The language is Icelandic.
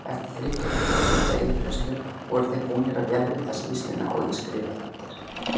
Eftir þriggja klukkustunda yfirheyrslu voru þeir búnir að vélrita skýrsluna og ég skrifaði undir.